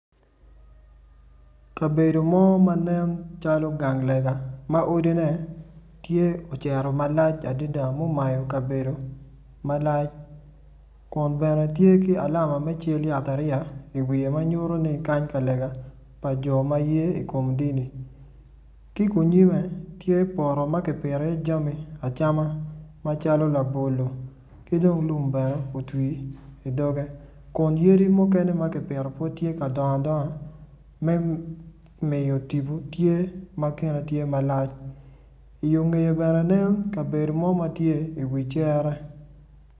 Kabedo mo ma nen calo gang lega ma odine tye ocito malac adida mumayo kabedo malac kun bene tye ki alama me cal yatariya iwiye ma nyuto-ni kany ka lega pa jo ye i kom dini ki kunyimme tye poto ma kipito iye jami acama amaclo labolo ki dong lum bene otwi i dogge kun yadi mukene ma ki pito pud tye ka dongo adonga me miyo tibu kine tye malac i yunge bene aneno kabedo mo ma tye i wi cere